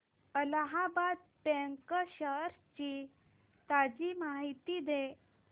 Allahabad bank shares ची ताजी माहिती दे